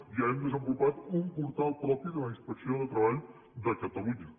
ja hem desenvolupat un portal propi de la inspecció de treball de catalunya